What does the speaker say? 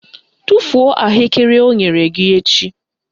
Tufuo ahụekere o nyere gị echi!